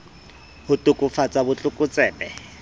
ho to kafatsa bot lokotsebe